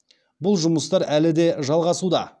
бұл жұмыстар әлі де жалғасуда